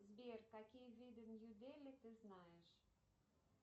сбер какие виды нью дели ты знаешь